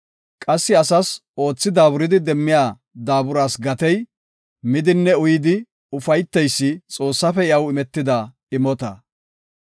Qassi, asas oothi daaburidi demmiya daaburas gatey, midinne uyidi ufayteysi Xoossaafe iyaw imetida imota.